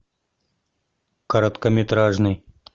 короткометражный